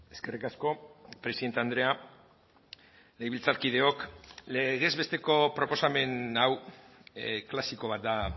eskerrik asko presidente andrea legebiltzarkideok legez besteko proposamen hau klasiko bat da